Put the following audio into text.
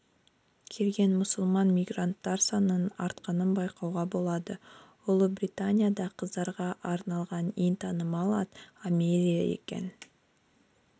келген мұсылман мигранттар санының артқанын байқауға болады ұлыбританияда қыздарға арналған ең танымал ат амелия екен